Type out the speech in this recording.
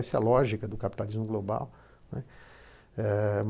Essa é a lógica do capitalismo global, né. Eh